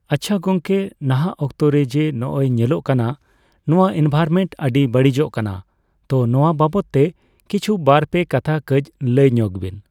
ᱟᱪᱪᱷᱟ ᱜᱚᱝᱠᱮ, ᱱᱟᱦᱟᱜ ᱚᱠᱛᱚ ᱨᱮ ᱡᱮ ᱱᱚᱜᱚᱭ ᱧᱮᱞᱚᱜ ᱠᱟᱱᱟ ᱱᱚᱣᱟ ᱮᱱᱵᱷᱟᱨᱢᱮᱱᱴ ᱟᱹᱰᱤ ᱵᱟᱹᱲᱤᱡᱚᱜ ᱠᱟᱱᱟ, ᱛᱚ ᱱᱚᱣᱟ ᱵᱟᱵᱚᱛ ᱛᱮ ᱠᱤᱪᱷᱩ ᱵᱟᱨᱼᱯᱮ ᱠᱟᱛᱷᱟ ᱠᱟᱡ ᱞᱟᱹᱭ ᱧᱚᱜᱽ ᱵᱤᱱ᱾